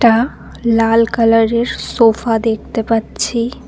একটা লাল কালার -এর সোফা দেখতে পাচ্ছি।